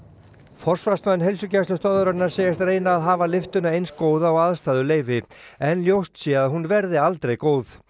forsvarsmenn Heilsugæslustöðvarinnar segjast reyna að hafa lyftuna eins góða og aðstæður leyfi en ljóst sé að hún verði aldrei góð